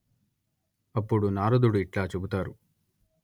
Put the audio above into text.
అప్పుడు నారదుడు ఇట్లా చెబుతారు